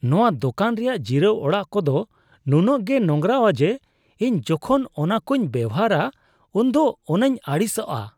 ᱱᱚᱣᱟ ᱫᱚᱠᱟᱱ ᱨᱮᱭᱟᱜ ᱡᱤᱨᱟᱹᱣ ᱚᱲᱟᱜ ᱠᱚᱫᱚ ᱱᱩᱱᱟᱹᱜ ᱜᱮ ᱱᱚᱝᱨᱟᱣᱟ ᱡᱮ ᱤᱧ ᱡᱚᱠᱷᱚᱱ ᱚᱱᱟᱠᱚᱧ ᱵᱮᱣᱦᱟᱨᱟ ᱩᱱ ᱫᱚ ᱚᱱᱟᱧ ᱟᱹᱲᱤᱥᱟᱜᱼᱟ ᱾